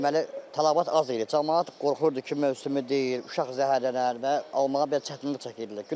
Deməli, tələbat az idi, camaat qorxurdu ki, mövsümü deyil, uşaq zəhərlənər və almağa belə çətinlik çəkirdilər.